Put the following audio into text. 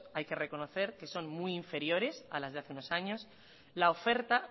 hay que reconocer que son muy inferiores a las de hace unos años la oferta